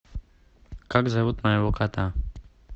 как зовут моего кота